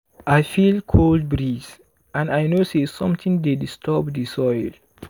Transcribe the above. i feel cold breeze and i know say something dey disturb di soil.